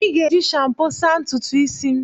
I ga-eji shampo saa ntutu isi m.